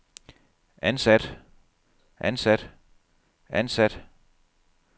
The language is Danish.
ansat ansat ansat